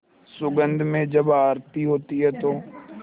सुगंध में जब आरती होती है तो